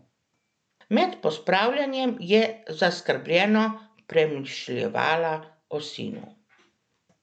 Med pospravljanjem je zaskrbljeno premišljevala o sinu.